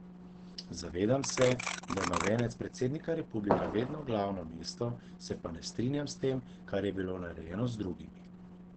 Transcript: Zavedam se, da ima venec predsednika republike vedno glavno mesto, se pa ne strinjam s tem, kar je bilo narejeno z drugimi.